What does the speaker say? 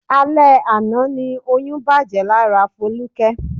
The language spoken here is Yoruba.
Alẹ àná ni oyún bàjẹ́ lára Foluke.